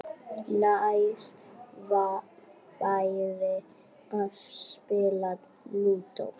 Nær væri að spila Lúdó.